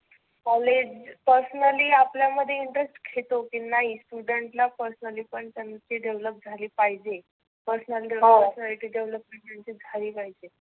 College personally आपल्यामध्ये interest घेतो की नाही student ला personally पण त्याची develop झाली पाहिजे. first personality develop झाली पाहिजे.